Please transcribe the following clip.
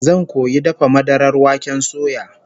Zan koyi dafa madarar waken suya